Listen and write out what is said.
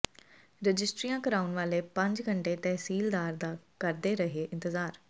ਰਜਿਸਟਰੀਆਂ ਕਰਾਉਣ ਵਾਲੇ ਪੰਜ ਘੰਟੇ ਤਹਿਸੀਲਦਾਰ ਦਾ ਕਰਦੇ ਰਹੇ ਇੰਤਜ਼ਾਰ